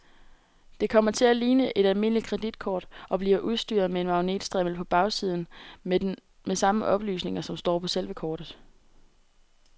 Det kommer til at ligne et almindeligt kreditkort og bliver udstyret med magnetstrimmel på bagsiden med samme oplysninger, som står på selve kortet.